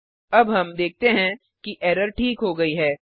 अब हम देखते हैं कि एरर ठीक हो गई है